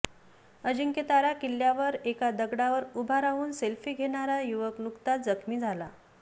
अजिंक्यतारा किल्यावर एका दगडावर उभा राहून सेल्फी घेणारा युवक नुकताच जखमी झाला